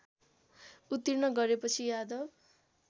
उत्तीर्ण गरेपछि यादव